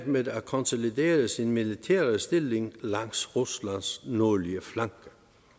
med at konsolidere sin militære stilling langs ruslands nordlige flanke